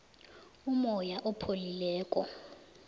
umoya opholileko